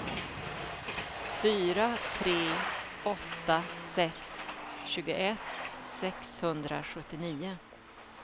fyra tre åtta sex tjugoett sexhundrasjuttionio